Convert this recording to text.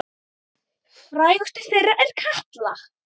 Frægust þeirra er Katla.